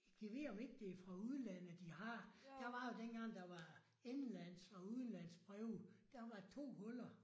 Gad vide om ikke det er fra udlandet de har. Der var jo dengang der var indlands og udlands breve. Der var to huller